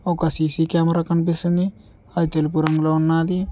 ఒక CC camera కనిపిస్తుంది అది తెలుపు రంగులో ఉన్నది.